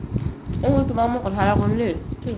এনেও তোমাক মই কথা এটা কও দেই